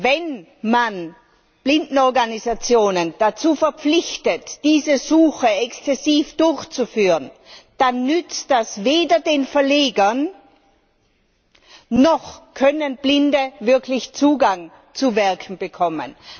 Wenn man Blindenorganisationen dazu verpflichtet, diese Suche exzessiv durchzuführen, dann nützt das weder den Verlegern, noch können Blinde wirklich Zugang zu Werken bekommen.